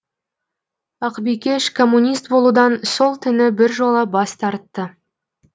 ақбикеш коммунист болудан сол түні біржола бас тартты